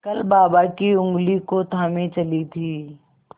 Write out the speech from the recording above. कल बाबा की ऊँगली को थामे चली थी